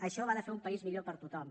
això va de fer un país millor per a tothom